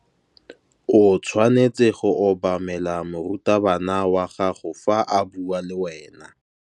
O tshwanetse go obamela morutabana wa gago fa a bua le wena.